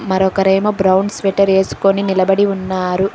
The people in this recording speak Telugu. మరొకరేమో బ్రౌన్ స్వెటర్ వేసుకొని నిలబడి ఉన్నారు.